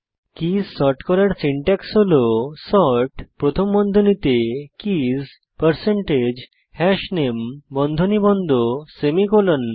keys sort করার syntax হল sort প্রথম বন্ধনীতে keys হাশনামে বন্ধনী বন্ধ সেমিকোলন